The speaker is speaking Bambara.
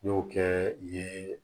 N y'o kɛ yen